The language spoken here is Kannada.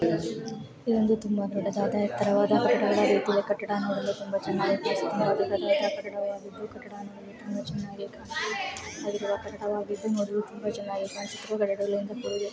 ಇದೊಂದು ತುಂಬಾ ದೊಡ್ಡದಾದ ಎತರವಾದ ಕಟ್ಟಡ ಅಗಿದೂ ಕಟ್ಟಡ ಚೆನ್ನಗಿ ಕಾಣುತ್ತಿದು ಕಟ್ಟಡವು ತುಂಬಾ ಚೆನ್ನಾಗಿ ಕಾಣಿಸುತ್ತಿದು --